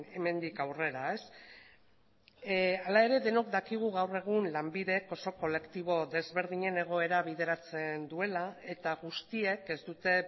hemendik aurrera hala ere denok dakigu gaur egun lanbidek oso kolektibo desberdinen egoera bideratzen duela eta guztiek ez dute